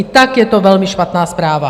I tak je to velmi špatná zpráva.